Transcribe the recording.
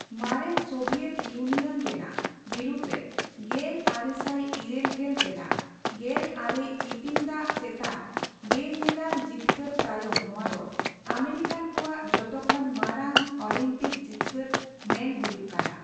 ᱢᱟᱨᱮᱱ Soviet Union ᱨᱮᱱᱟᱜ ᱵᱤᱨᱩᱫᱽᱨᱮ ᱼᱜᱮᱞ ᱟᱨᱮᱥᱟᱭ ᱤᱨᱟᱹᱞ ᱜᱮᱞ ᱨᱮᱱᱟᱜ ᱜᱮᱞᱟᱝᱨᱮ ᱤᱛᱤᱧ ᱫᱟᱜ ᱪᱮᱛᱟᱱ ᱵᱮᱼᱧᱮᱞᱟᱱ ᱡᱤᱛᱠᱟᱹᱨ ᱛᱟᱭᱚᱢ ᱱᱚᱣᱟ ᱫᱚ ᱟᱢᱮᱨᱤᱠᱟᱱ ᱠᱚᱣᱟᱜ ᱡᱚᱛᱚ ᱠᱷᱚᱱ ᱢᱟᱨᱟᱝ ᱚᱞᱤᱢᱯᱤᱠ ᱡᱤᱛᱠᱟᱹᱨ ᱢᱮᱱ ᱦᱩᱭᱩᱜ ᱠᱟᱱᱟ ᱾